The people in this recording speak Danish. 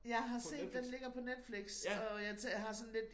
Jeg har set den ligger på Netflix og jeg har sådan lidt